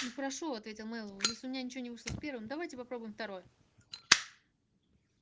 ну хорошо ответил мэллоу если у меня ничего не вышло с первым давайте попробуем второе